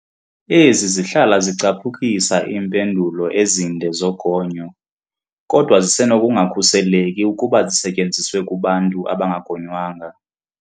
Ezi zihlala zicaphukisa iimpendulo ezinde zogonyo, kodwa zisenokungakhuseleki ukuba zisetyenziswe kubantu abangagonywanga.